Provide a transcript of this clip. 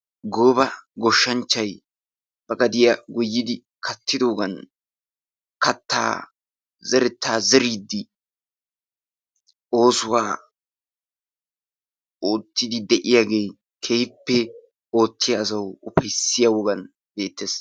Gooba goshshanchchay ba gadiya goyidi katidoogan, kataa zerettaa zeriidi, oosuwa ootiidi de'iyaage keehippe ufayssiya wogan beetees.